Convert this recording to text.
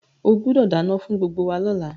O gbúdọ̀ dánán fún gbgbo wa lọ́la